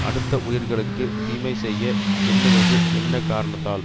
அடுத்த உயிர்களுக்கு தீமை செய்ய எண்ணுவது என்ன காரணத்தால்